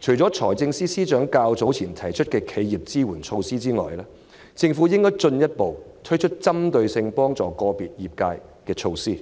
除了財政司司長較早前提出的企業支援措施外，政府應進一步推出針對個別業界的支援措施。